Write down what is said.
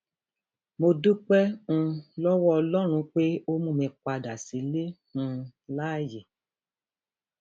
mo dúpẹ um lọwọ ọlọrun pé ó mú mi padà sílé um láàyè